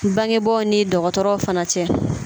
Bangebaaw ni dɔgɔtɔrɔw fana cɛ